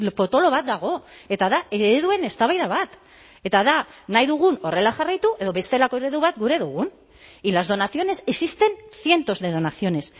potolo bat dago eta da ereduen eztabaida bat eta da nahi dugun horrela jarraitu edo bestelako eredu bat gura dugun y las donaciones existen cientos de donaciones